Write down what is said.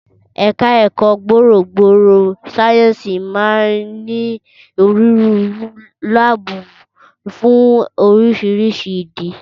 Ẹ̀ka ẹ̀kọ́ gbòòrò gbòòrò sáyẹ́ǹsì máa ń ní onírúurú láàbù fún oríṣiríṣi ìdí